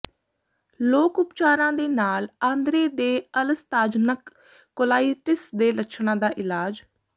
ਲੋਕ ਉਪਚਾਰਾਂ ਦੇ ਨਾਲ ਆਂਦਰੇ ਦੇ ਅਲਸਤਾਜਨਕ ਕੋਲਾਈਟਿਸ ਦੇ ਲੱਛਣਾਂ ਦਾ ਇਲਾਜ